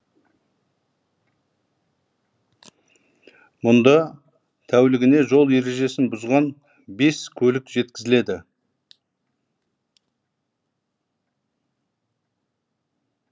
мұнда тәулігіне жол ережесін бұзған бес көлік жеткізіледі